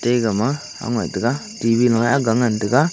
egama awngai tiga T_V lao eh agga ngan taga.